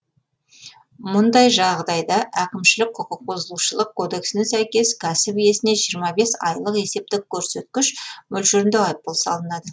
мұндай жағдайда әкімшілік құқықбұзушылық кодексіне сәйкес кәсіп иесіне жиырма бес айлық есептік көрсеткіш мөлшерінде айыппұл салынады